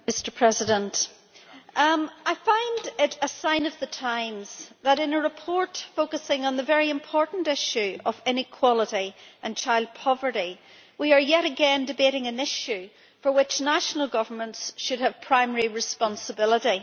Mr President, it is a sign of the times that, in a report focusing on the very important issue of inequality and child poverty, we are yet again debating an issue for which national governments should have primary responsibility.